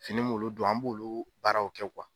Fini m'olu don an m'olu baaraw kɛ